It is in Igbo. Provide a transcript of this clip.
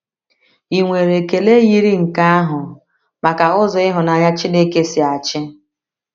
Ì nwere ekele yiri nke ahụ maka ụzọ ịhụnanya Chineke si achị?